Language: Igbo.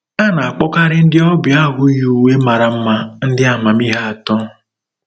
A na-akpọkarị ndị ọbịa ahụ yi uwe mara mma ndị amamihe atọ.